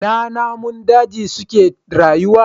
Ina namun daji suke rayuwa?